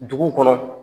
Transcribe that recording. Dugu kɔnɔ